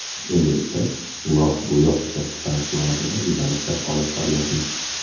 Endilikda lok-bo‘yoq ishlab chiqarish borasida izlanishlar olib boryapmiz”.